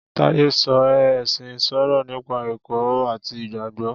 Táyé sọ oé ẹ̀sìn ń sọ̀rọ̀ nípa ẹ̀kọ́ àti Ìgbàgbọ́.